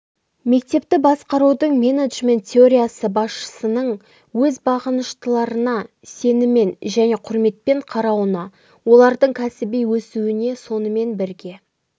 мектепті басқарудың менеджмент теориясы басшының өз бағыныштыларына сеніммен және құрметпен қарауына олардың кәсіби өсуіне сонымен бірге